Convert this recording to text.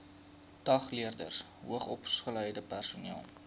dagleerders hoogsopgeleide personeel